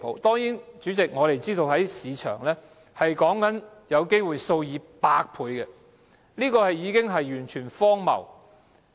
當然，主席，我們知道市場上的薪酬差距有機會達到數以百倍，這是完全荒謬的。